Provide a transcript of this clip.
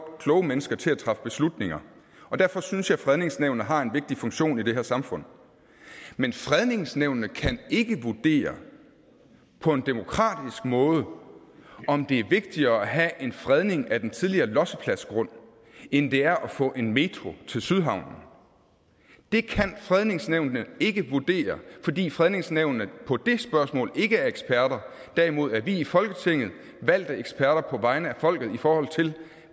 kloge mennesker til at træffe beslutninger og derfor synes jeg at fredningsnævnene har en vigtig funktion i det her samfund men fredningsnævnene kan ikke vurdere på en demokratisk måde om det er vigtigere at have en fredning af den tidligere lossepladsgrund end det er at få en metroen til sydhavnen det kan fredningsnævnene ikke vurdere fordi fredningsnævnene i det spørgsmål ikke er eksperter derimod er vi i folketinget valgte eksperter på vegne af folket i forhold til